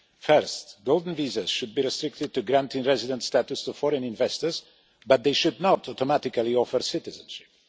Firstly, golden visas should be restricted to granting residence status to foreign investors, but they should not automatically offer citizenship.